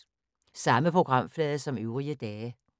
Samme programflade som øvrige dage